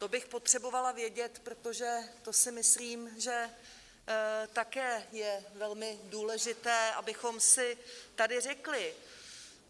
To bych potřebovala vědět, protože to si myslím, že také je velmi důležité, abychom si tady řekli.